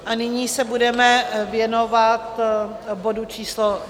A nyní se budeme věnovat bodu číslo